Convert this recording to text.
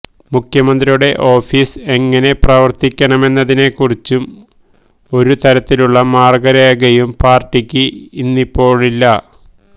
മുഖ്യമന്ത്രിയുടെ ഓഫിസ് എങ്ങിനെ പ്രവര്ത്തിക്കണമെന്നതിനെക്കുറിച്ച് ഒരു തരത്തിലുള്ള മാര്ഗ്ഗരേഖയും പാര്ട്ടിക്ക് ഇന്നിപ്പോഴില്ല